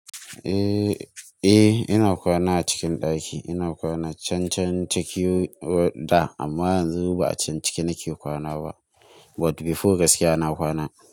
Eh, eh ina kwana a cikin ɗaki. Ina kwana can cikin da amma yanzu ba a can ciki nake kwana ba but before gaskiya na kwana.